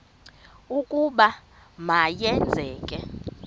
ukuba ma yenzeke